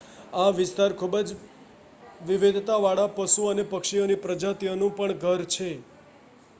આ વિસ્તાર ખુબજ વિવિધતા વાળા પશુ અને પક્ષીઓની પ્રજાતિઓનું પણ ઘર છે